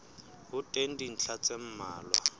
ho teng dintlha tse mmalwa